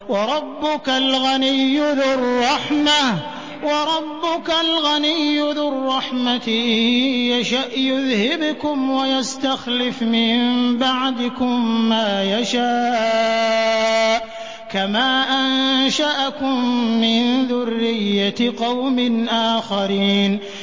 وَرَبُّكَ الْغَنِيُّ ذُو الرَّحْمَةِ ۚ إِن يَشَأْ يُذْهِبْكُمْ وَيَسْتَخْلِفْ مِن بَعْدِكُم مَّا يَشَاءُ كَمَا أَنشَأَكُم مِّن ذُرِّيَّةِ قَوْمٍ آخَرِينَ